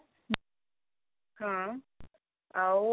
ହଁ ଆଉ